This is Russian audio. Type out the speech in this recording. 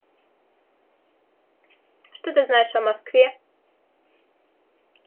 что ты знаешь о москве